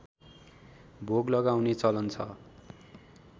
भोग लगाउने चलन छ